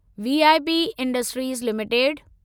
VIP industries limited